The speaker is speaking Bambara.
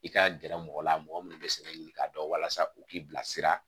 I ka gɛrɛ mɔgɔ la mɔgɔ minnu bɛ sɛnɛ ɲini k'a dɔn walasa u k'i bilasira